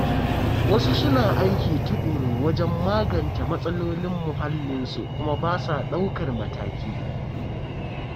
Wasu suna aiki tuƙuru wajen magance matsalolin muhallinsu kuma ba sa daukar mataki.